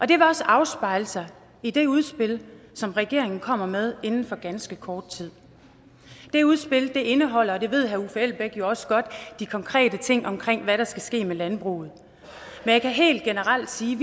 det vil også afspejle sig i det udspil som regeringen kommer med inden for ganske kort tid det udspil indeholder og det ved herre uffe elbæk jo også godt de konkrete ting omkring hvad der skal ske med landbruget men jeg kan helt generelt sige